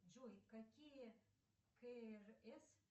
джой какие крс